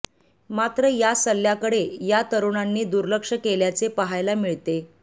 मात्र या सल्ल्याकडे या तरूणांनी दुर्लक्ष केल्याचे पहायला मिळते